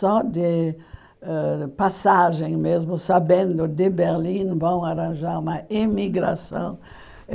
Só de ãh passagem mesmo, sabendo de Berlim, vão arranjar uma emigração.